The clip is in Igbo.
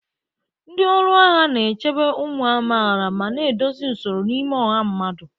Ndị ọrụ agha na-echebe ụmụ amaala ma na-edozi usoro n'ime ọha mmadụ.